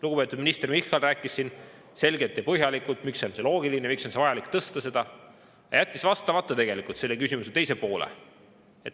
Lugupeetud minister Michal rääkis siin selgelt ja põhjalikult, miks on see loogiline, miks on vaja tõsta, aga jättis vastamata tegelikult selle küsimuse teisele poolele.